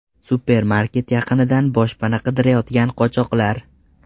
Supermarket yaqinidan boshpana qidirayotgan qochoqlar.